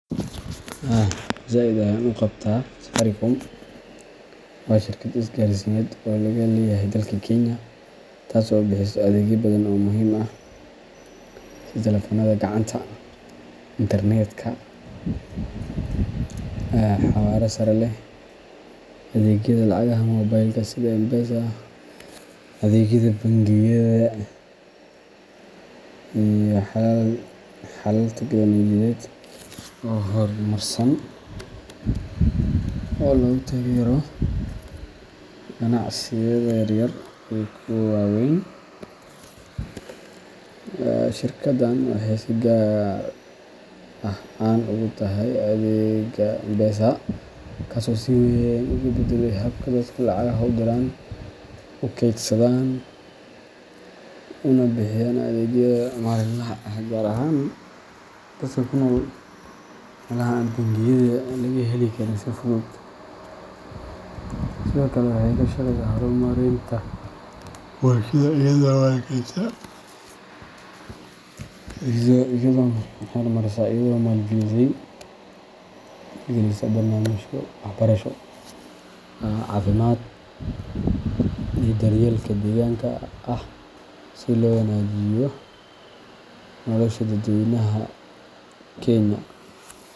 Haa zaid ayan u qabtaa, Safaricom waa shirkad isgaarsiineed oo laga leeyahay dalka Kenya, taas oo bixisa adeegyo badan oo muhiim ah sida taleefannada gacanta, internet-ka xawaaraha sare leh, adeegyada lacagaha moobilka sida M-Pesa, adeegyada bangiyada, iyo xalal teknoolojiyadeed oo horumarsan oo lagu taageerayo ganacsiyada yaryar iyo kuwa waaweyn. Shirkaddan waxay si gaar ah caan ugu tahay adeegga M-Pesa, kaas oo si weyn uga beddelay habka dadku lacagaha u diraan, u kaydsadaan, una bixiyaan adeegyada maalinlaha ah, gaar ahaan dadka ku nool meelaha aan bangiyada laga heli karin si fudud, sidoo kale waxay ka shaqaysaa horumarinta bulshada iyadoo maalgelisa barnaamijyo waxbarasho, caafimaad, iyo daryeelka deegaanka ah si loo wanaajiyo nolosha dadweynaha Kenya.